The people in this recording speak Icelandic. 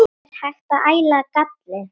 Er hægt að æla galli?